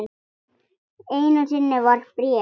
Einu sinni var bréf.